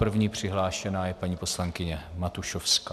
První přihlášená je paní poslankyně Matušovská.